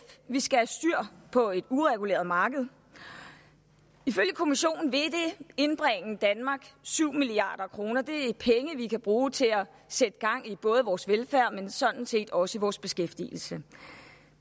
vi skal have styr på et ureguleret marked ifølge kommissionen vil det indbringe danmark syv milliard kroner det er penge vi kan bruge til at sætte gang i både vores velfærd men sådan set også i vores beskæftigelse